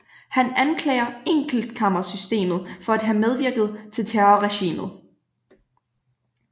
Han anklager enkeltkammersystemet for at have medvirket til terrorregimet